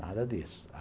Nada disso.